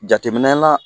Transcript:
Jateminɛ la